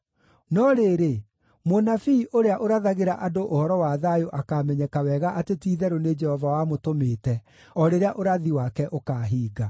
No rĩrĩ, mũnabii ũrĩa ũrathagĩra andũ ũhoro wa thayũ akaamenyeka wega atĩ ti-itherũ nĩ Jehova wamũtũmĩte o rĩrĩa ũrathi wake ũkaahinga.”